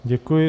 Děkuji.